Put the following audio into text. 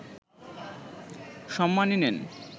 সম্মানী নেন